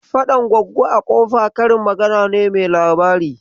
"Faɗan Goggo a kofa " karin magana mai labari ce.